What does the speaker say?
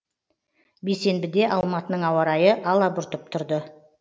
бейсенбіде алматының ауа райы алабұртып тұрды